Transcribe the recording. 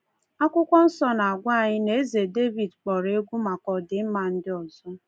Akwụkwọ Nsọ na-agwa anyị na Eze Devid kpọrọ egwu maka ọdịmma ndị ọzọ.